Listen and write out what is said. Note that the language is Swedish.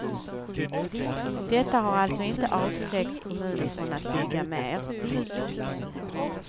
Detta har alltså inte avskräckt kommunen från att bygga mer.